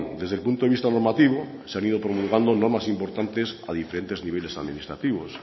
desde el punto de vista normativo se han ido promulgando normas importantes a diferentes niveles administrativos